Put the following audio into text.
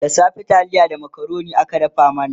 da safe taliya da macaroni aka dafa mana